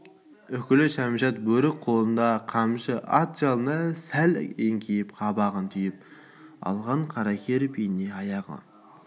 үкілі кәмшат бөрік қолында қамшы ат жалына сәл еңкейіп қабағын түйіп алған қаракер бейне аяғы